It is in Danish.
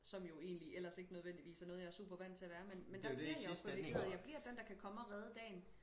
Som jo egentlig ellers ikke nødvendigvis er noget jeg er super vant til at være men men der bliver jeg jo privilegeret og jeg bliver den der kan komme og redde dagen